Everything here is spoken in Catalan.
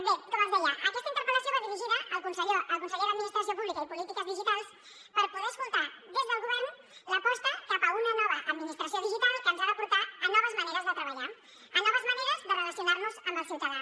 bé com els deia aquesta interpel·lació va dirigida al conseller de polítiques digitals i administració pública per poder escoltar des del govern l’aposta cap a una nova administració digital que ens ha de portar a noves maneres de treballar a noves maneres de relacionar nos amb el ciutadà